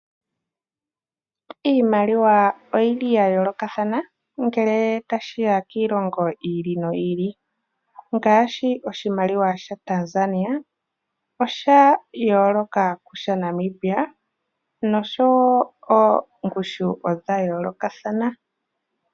Iimaliwa oyili yayolokathana ngele tashiya kiilongo yi ili noyi ili ngaashi koshimaliwa shaTanzania osha yooloka kusha Namibia osho woo ongushu oya yoolokathana.